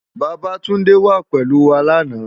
Babatunde wá pélú wá làná